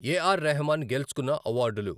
ఏ R Rahman గెలుచుకున్న అవార్డులు